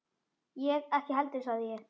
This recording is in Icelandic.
Ég ekki heldur sagði ég.